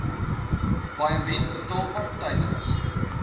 paaiement betaalbaar tydens